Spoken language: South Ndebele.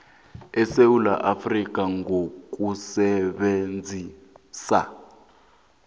esewula afrika ngokusebenzisa